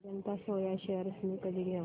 Ajanta soya shares मी कधी घेऊ